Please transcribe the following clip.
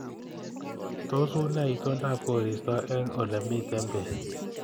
Tos unee itondab koristo eng olemiten beek